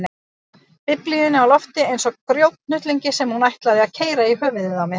Biblíunni á lofti eins og grjóthnullungi sem hún ætlaði að keyra í höfuðið á mér.